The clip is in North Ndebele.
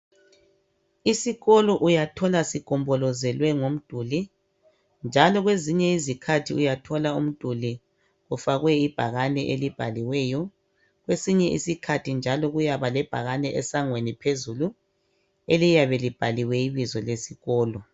Isikolo uyathola sigombolozelwe ngomduli njalo kwezinye izikhathi uyathola umduli ufake ibhakane elibhaliweyo kwesinye isikhathi njalo kuyabe kulebhakane esangweni phezulu eliyabe libhaliwe ibizo lesikolo.